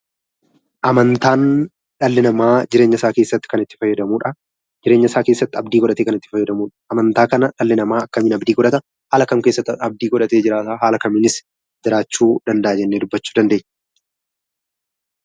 Amantaan dhalli namaa jireenya isaa keessatti itti fayyadamudha. Jireenya isaa keessatti abdii godhatee itti fayyadamudha. Amantaa kana dhalli namaa akkamiin abdii godhataa haala kam keessatti abdii godhatee jiraata, jiraachuu danda'a jennee dubbachuu dandeenya?